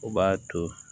O b'a to